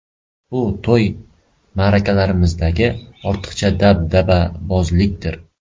Bu to‘y-ma’rakalarimizdagi ortiqcha dabdababozlikdir.